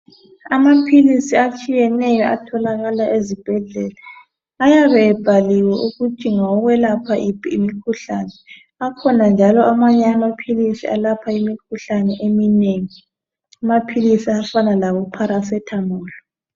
Amaphilisi atshiyeneyo atholakala ezibhedlela ayabe abhaliwe ukuthi ngawokwelapha yiphi imikhuhlane akhona njalo amanye amaphilisi alapha imikhuhlane eminengi amaphilisi afana labo paracetamol.